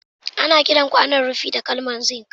Ana kiran kwanaon rufi da kalmar zink